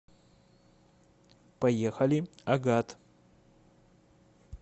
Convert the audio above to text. поехали агат